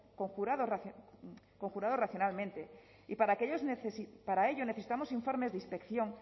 conjurados racionalmente y para ello necesitamos informes de inspección